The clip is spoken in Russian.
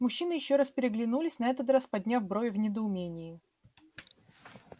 мужчины ещё раз переглянулись на этот раз подняв брови в недоумении